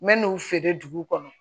N mɛ n'u feere dugu kɔnɔ